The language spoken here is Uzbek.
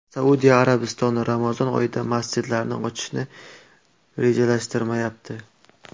Saudiya Arabistoni Ramazon oyida masjidlarni ochishni rejalashtirmayapti.